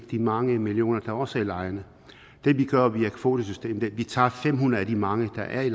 de mange millioner der også er i lejrene det vi gør via kvotesystemet er at vi tager fem hundrede af de mange der er i